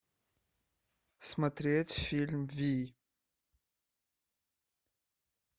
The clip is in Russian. смотреть фильм вий